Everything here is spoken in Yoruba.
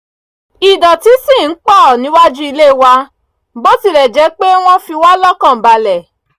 idọ̀tí ṣì ń pọ̀ níwájú ilé wa bó tilẹ̀ jẹ́ pé wọ́n fiwá lọ́kan balẹ̀